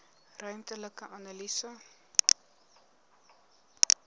ruimtelike analise